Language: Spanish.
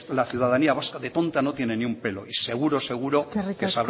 la ciudadanía vasca de tonta no tiene ni un pelo y seguro seguro sabrá poner